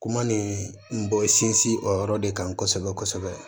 Kuma nin n b'o sinsin o yɔrɔ de kan kosɛbɛ kosɛbɛ